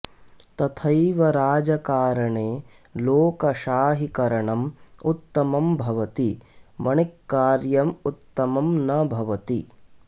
तथैव राजकारणे लोकशाहीकरणम् उत्तमं भवति वणिक्कार्यम् उत्तमं न भवति